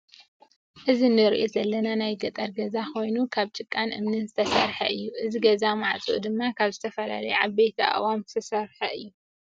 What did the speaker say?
እዚ እንሪኦ ዘለና ናይ ገጠር ገዛ ኮይኑ ካብ ጭቃን እምኒን ዝተሰርሓ እዩ። እዚ ገዛ ማዕፅኡ ድማ ካብ ዝተፈላለዩ ዓበይቲ ኣእዋኦም ዝተሰርሓ እዩ።